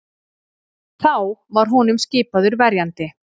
Þá var honum skipaður verjandi